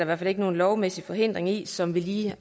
hvert fald ikke nogen lovmæssig hindring i som vi lige